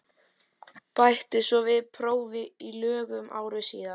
Bætti svo við prófi í lögum ári síðar.